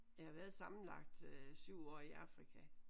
Jeg har været sammenlagt øh 7 år i Afrika